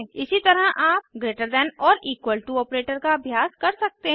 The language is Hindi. इसी तरह आप greater than or equal to operator का अभ्यास कर सकते हैं